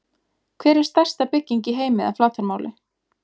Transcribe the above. Hver er stærsta bygging í heimi að flatarmáli?